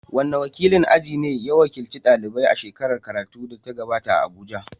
Wane wakilin aji ne ya wakilci daliban a shekarar karatu da ta gabata a Abuja?